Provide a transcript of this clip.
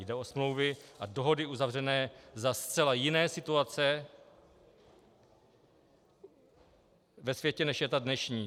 Jde o smlouvy a dohody uzavřené za zcela jiné situace ve světě, než je ta dnešní.